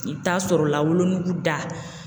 I bɛ taa sɔrɔ la wolonugu da